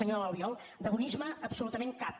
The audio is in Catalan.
senyor albiol de bonisme absolutament cap